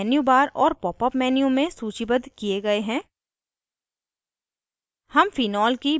ये विकल्प menu bar और popअप menu में सूचीबद्ध किये गए हैं